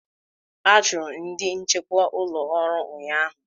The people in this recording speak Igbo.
A chụrụ ndị nchekwa ụlọ ọrụ ụnyaahụ.